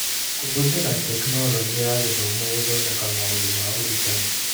Kũhũthĩra Teknoroji ya Gĩthomo gũthondeka maũndũ ma ũrutani.